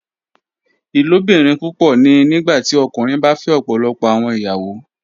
Ilobirin pupọ ni nigbati ọkunrin ba fẹ ọpọlọpọ awọn iyawo